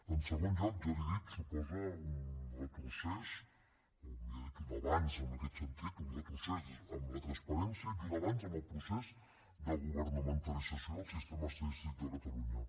en segon lloc ja li ho he dit suposa un retrocés o millor dit un avanç en aquest sentit un retrocés en la transparència i un avanç en el procés de governamentalització del sistema estadístic de catalunya